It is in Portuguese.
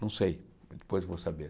Não sei, depois vou saber.